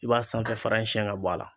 I b'a sanfɛ fara in sɛn ka bɔ a la